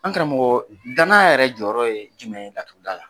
An karamɔgɔ danaya yɛrɛ jɔyɔrɔ ye jumɛn ye laturudala?